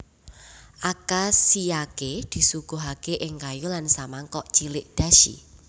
Akashiyake disuguhake ing kayu lan samangkok cilik dashi